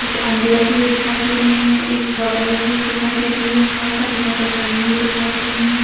कुछ अंडे रखे हुए दिखाई दे रहे है एक बोतल रखी हुई दिखाई दे रही है बहोत सारे पैकेट टंगे हुए दिखाई दे रहे हैं ।